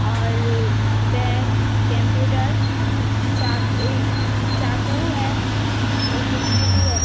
और pen computer चा चाकू है और कुर्सी भी है।